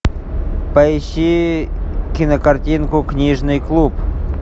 поищи кинокартинку книжный клуб